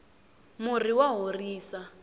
murhi wa horisa